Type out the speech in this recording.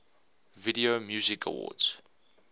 video music awards